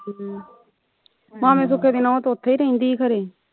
ਮਾਮੇ ਸੁੱਖੇ ਦੀ ਨੂੰਹ ਤੇ ਉਥੇ ਰਹਿੰਦੀ ਖਰੇ